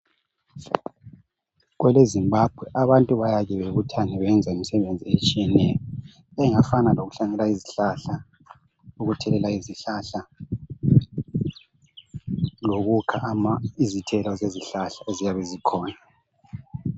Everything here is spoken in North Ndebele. KweleZimbabwe abantu bayake babuthane benza imsebenzi etshiyeneyo engafana lokuhlanyela izihlahla ukuthelela izihlahla lokukha izithelo zezihlahla eziyabe zikhona.